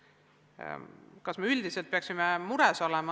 Kas me peaksime üldiselt mures olema?